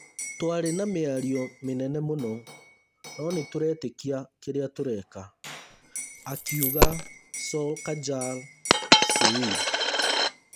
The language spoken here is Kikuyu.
Twarĩ na mĩario mĩnene mũno, no nĩtũretĩkia kĩrĩa tũreka’’ akiuga Solskjaer said.